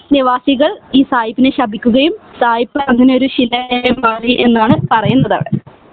നിവാസികൾ ഈ സായിപ്പിനെ ശപിക്കുകയും സായിപ്പ് അങ്ങിനെ ഒരു ശിലയായി മാറി എന്നാണ് പറയുന്നത് അവിടെ